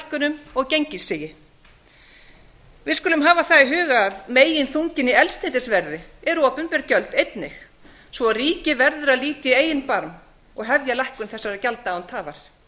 eldsneytishækkunum og gengissigi við skulum hafa það í huga að meginþunginn í eldsneytisverði eru opinber gjöld einnig svo að ríkið verður að líka í eigin barm og hefja lækkun þessara gjalda án tafar